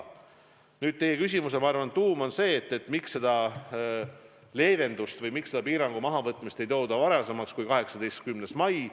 Ma arvan, et teie küsimuse tuum on, miks seda leevendust või miks seda piirangu mahavõtmist ei tehta enne 18. maid.